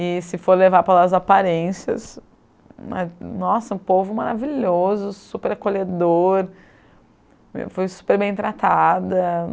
E se for levar pelas as aparências, nossa, um povo maravilhoso, super acolhedor, fui super bem tratada.